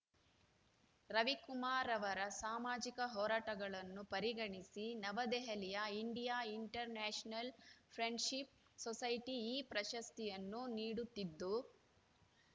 ರವಿಕುಮಾರ್‌ ಅವರ ಸಾಮಾಜಿಕ ಹೋರಾಟಗಳನ್ನು ಪರಿಗಣಿಸಿ ನವದೆಹಲಿಯ India international friendship society ಈ ಪ್ರಶಸ್ತಿಯನ್ನು ನೀಡುತ್ತಿದ್ದು